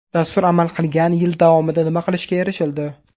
Dastur amal qilgan yil davomida nima qilishga erishildi?